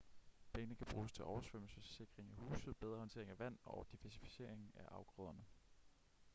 pengene kan bruges til oversvømmelsessikring af huse bedre håndtering af vand og diversificering af afgrøderne